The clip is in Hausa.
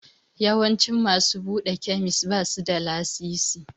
Yawancin masu buɗe kemis basu da lasisi.